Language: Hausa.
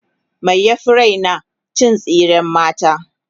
me ya Fi Raina cin tsiran mata